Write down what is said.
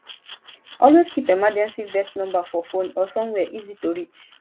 always keep emergency vet number for phone or somewhere easy to reach